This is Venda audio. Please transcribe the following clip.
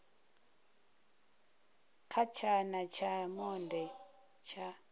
kha tshana tsha monde tsha